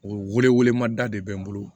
O wele wele ma da de bɛ n bolo